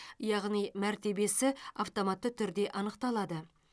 яғни мәртебесі автоматты түрде анықталады